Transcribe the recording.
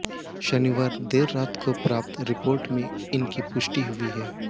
शनिवार देर रात को प्राप्त रिपोर्ट में इनकी पुष्टि हुई है